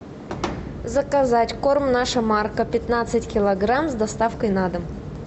заказать корм наша марка пятнадцать килограмм с доставкой на дом